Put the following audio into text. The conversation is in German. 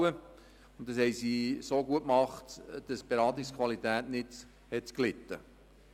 Das haben sie so gut gemacht, dass die Beratungsqualität nicht darunter gelitten hat.